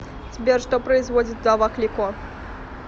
сбер что производит вдова клико